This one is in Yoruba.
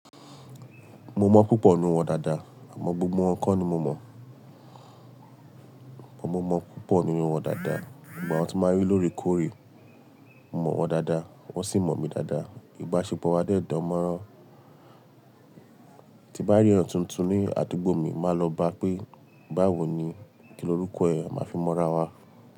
Mo mọ̀ púpọ̀ nínú wọn dáadáa, àmọ́ gbogbo wọn kọ́ ni mo mọ̀. Ọ̀pọ̀ mo mọ̀ púpọ̀ nínú wọn dáadáa, ìgbà tí wọ́n máa ń rí lóore kóòrè, mo mọ̀ wọ́n dáadáa, wọ́n sì mọ̀ mi dáadáa. Ìbáṣepọ̀ wa dẹ̀ dánmọ́rán. Tí bá rí èèyàn tuntun ní àdúgbò mi, màá lọ bá pé, "báwo ni kí lórúkọ ẹ̀? A máa fi mọra wa."